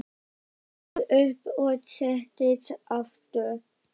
Lóa stóð upp og settist aftur.